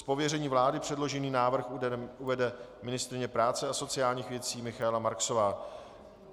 Z pověření vlády předložený návrh uvede ministryně práce a sociálních věcí Michaela Marksová.